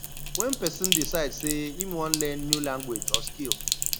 when person decide sey im wan learn new language or skill